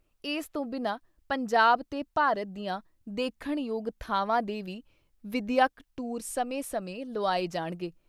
ਇਸ ਤੋਂ ਬਿਨਾਂ ਪੰਜਾਬ ਤੇ ਭਾਰਤ ਦੀਆਂ ਦੇਖਣ ਯੋਗ ਥਾਵਾਂ ਦੇ ਵੀ ਵਿਦਿਅਕ ਟੂਰ ਸਮੇਂ ਸਮੇਂ ਲੁਆਏ ਜਾਣਗੇ ।